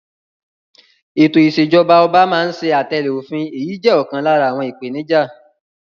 Ètò ìṣèjọba ọba máa ń ṣe àtẹ̀lẹ́ òfin, èyí jẹ́ ọ̀kan lára àwọn ìpèníjà.